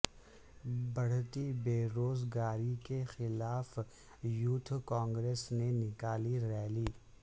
بڑھتی بے روز گاری کے خلاف یوتھ کانگریس نے نکالی ریلی